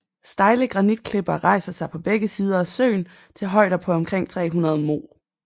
Stejle granitklipper rejser sig på begge sider af søen til højder på omkring 300 moh